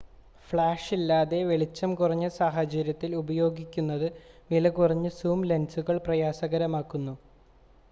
ഫ്ലാഷില്ലാതെ വെളിച്ചം കുറഞ്ഞ സാഹചര്യങ്ങളിൽ ഉപയോഗിക്കുന്നത് വിലകുറഞ്ഞ സൂം ലെൻസുകൾ പ്രയാസകരമാക്കുന്നു